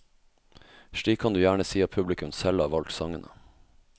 Slik kan du gjerne si at publikum selv har valgt sangene.